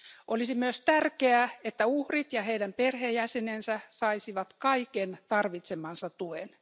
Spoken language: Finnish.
Olisi myös tärkeää, että uhrit ja heidän perheenjäsenensä saisivat kaiken tarvitsemansa tuen.